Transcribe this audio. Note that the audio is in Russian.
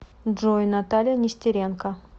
джой наталья нестеренко